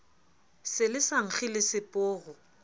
se le sa nkge leseporo